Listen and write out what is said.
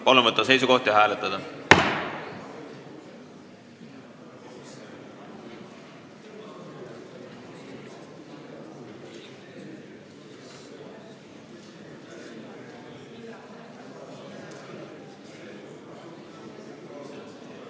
Palun võtta seisukoht ja hääletada!